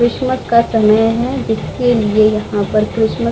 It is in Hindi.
क्रिसमस का समय है जिसके लिए यहाँ पर क्रिसमस --